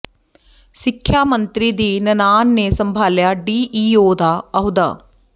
ਸਿੱਖਿਆ ਮੰਤਰੀ ਦੀ ਨਨਾਣ ਨੇ ਸੰਭਾਲਿਆ ਡੀਈਓ ਦਾ ਅਹੁਦਾ